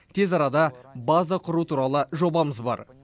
тез арада база құру туралы жобамыз бар